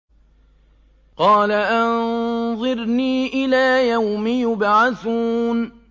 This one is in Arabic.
قَالَ أَنظِرْنِي إِلَىٰ يَوْمِ يُبْعَثُونَ